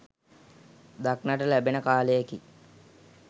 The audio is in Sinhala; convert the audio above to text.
දක්නට ලැබෙන කාලයකි.